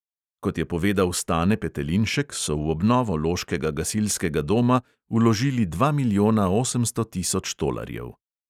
Kot je povedal stane petelinšek so v obnovo loškega gasilskega doma vložili dva milijona osemsto tisoč tolarjev.